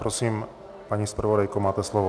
Prosím, paní zpravodajko, máte slovo.